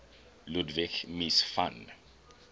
ludwig mies van